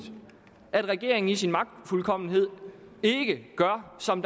at regeringen i sin magtfuldkommenhed ikke gør som